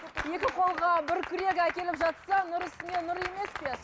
екі қолға бір күрек әкеліп жатса нұр үстіне нұр емес пе